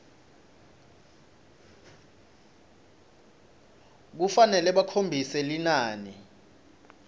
kufanele bakhombise linani